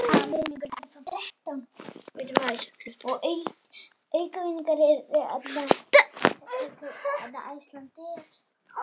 Álagið segir til sín.